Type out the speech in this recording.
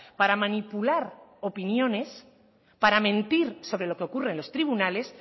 para manipular opiniones para mentir sobre lo que ocurre en los tribunales